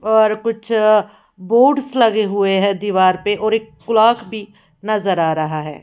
और कुछ बोट्स लगे हुए हैं दीवार पे और एक क्लॉक भी नजर आ रहा है।